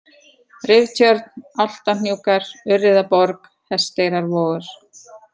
Riftjörn, Álftahnúkar, Urriðaborg, Hesteyrarvogur